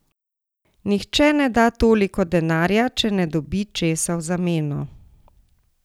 Nihče ne da toliko denarja, če ne dobi česa v zameno.